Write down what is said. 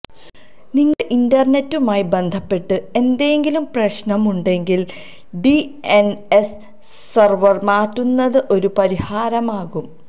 നിങ്ങളുടെ ഇന്റര്നെറ്റുമായി ബന്ധപ്പെട്ട് എന്തെങ്കിലും പ്രശ്നം ഉണ്ടെങ്കില് ഡിഎന്എസ് സെര്വര് മാറ്റുന്നത് ഒരു പരിഹാരമാകും